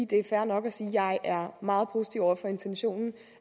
det er fair nok at sige at jeg er meget positiv over for intentionen